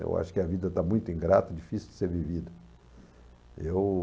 Eu acho que a vida está muito ingrata, difícil de ser vivida. Eu